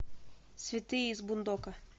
святые из бундока